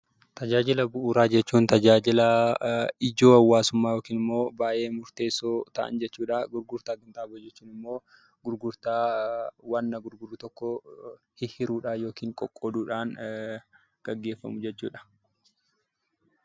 Tajaajila bu'uuraa jechuun tajaajila ijoo hawaasummaa yookaan immoo murteessoo ta'an jechuudha. Gurgurtaa qinxaaboo jechuun immoo gurgurtaa wanta gurgurru tokko hiruudhaan yookiin qoqqooduudhaan gaggeeffamu jechuudha.